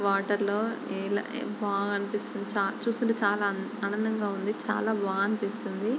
Water లో బా అనిపిస్తుంది చూస్తూవుంటే చాలా ఆనందముగా ఉంది చాలా బా అనిపిస్తుంది.